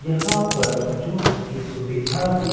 यहां पर जूस की सुविधा भी--